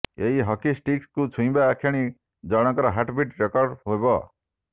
ଏହି ହକି ଷ୍ଟିକ୍କୁ ଛୁଇଁବା କ୍ଷଣି ଜଣଙ୍କ ହାର୍ଟବିଟ୍ ରେକର୍ଡ ହେବ